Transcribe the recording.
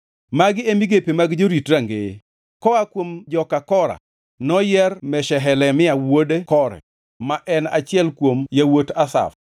Magi e migepe mag jorit rangeye: Koa kuom joka Kora, noyier Meshelemia wuod Kore, ma en achiel kuom yawuot Asaf.